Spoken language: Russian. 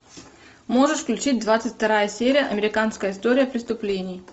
можешь включить двадцать вторая серия американская история преступлений